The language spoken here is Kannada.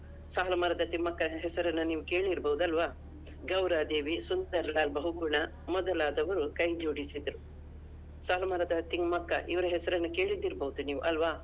ಸಾಲು ಮರದ ತಿಮ್ಮಕ್ಕನ ಹೆಸರನ್ನ ನೀವು ಕೇಳಿರ್ಬೋದು ಅಲ್ವಾ? ಗೌರದೇವಿ, ಸುಂದರಲಾಲ್ ಬಹುಗುಣ ಮೊದಲಾದವರು ಕೈಜೋಡಿಸಿದ್ರು. ಸಾಲು ಮರದ ತಿಮ್ಮಕ್ಕ ಇವ್ರ ಹೆಸರನ್ನು ಕೇಳಿದ್ದಿರ್ಬೋದು ನೀವು ಅಲ್ವಾ?